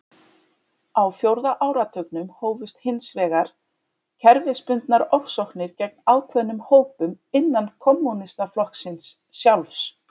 Á fjórða áratugnum hófust hins vegar kerfisbundnar ofsóknir gegn ákveðnum hópum innan kommúnistaflokksins sjálfs.